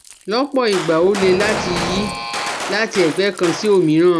Lọ́pọ̀ ìgbà ó le láti yí láti ẹ̀gbẹ́ kan sí òmíràn